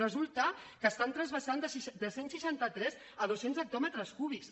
resulta que estan transvasant de cent i seixanta tres a dos cents hectòmetres cúbics